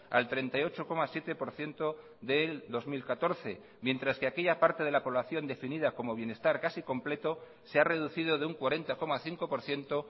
al treinta y ocho coma siete por ciento del dos mil catorce mientras que aquella parte de la población definida como bienestar casi completo se ha reducido de un cuarenta coma cinco por ciento